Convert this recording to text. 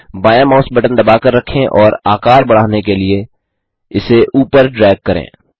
बायाँ mouse button दबाकर रखें और आकार बढ़ाने के लिए इसे ऊपर ड्रैग करें